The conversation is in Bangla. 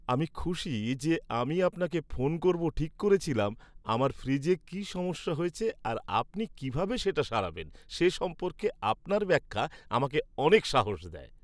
আমি খুশি যে আমি আপনাকে ফোন করব ঠিক করেছিলাম, আমার ফ্রিজে কী সমস্যা হয়েছে আর আপনি কীভাবে সেটা সারাবেন সে সম্পর্কে আপনার ব্যাখ্যা আমাকে অনেক সাহস দেয়।